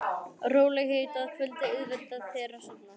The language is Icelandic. Rólegheit að kvöldi auðvelda þér að sofna.